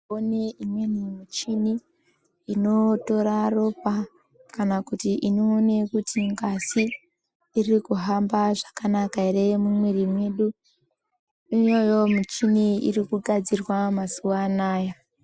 One imweni michini inotore ropa kana kuti inoona kuti ngazi iri kuhamba zvakanaka ere mumwiri yedu iyoyo michini iri kugadzirwa mazuwa anaya.